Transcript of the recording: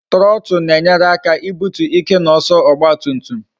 Trotu na-enyere aka ibutu ike na ọsọ ọgba tum tum